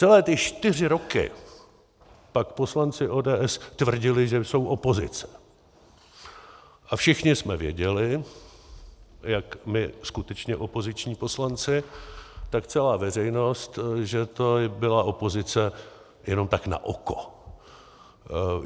Celé ty čtyři roky pak poslanci ODS tvrdili, že jsou opozice, a všichni jsme věděli, jak my skutečně opoziční poslanci, tak celá veřejnost, že to byla opozice jenom tak na oko.